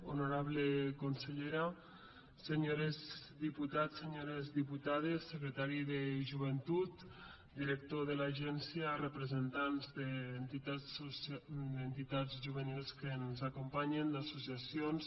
honorable consellera senyors diputats senyores diputades secretari de joventut director de l’agència representants d’entitats juvenils que ens acompanyen d’associacions